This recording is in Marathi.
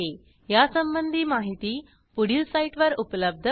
यासंबंधी माहिती पुढील साईटवर उपलब्ध आहे